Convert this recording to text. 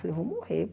Falei, vou morrer.